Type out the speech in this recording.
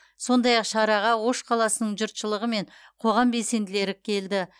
сондай ақ шараға ош қаласының жұртшылығы мен қоғам белсенділері келді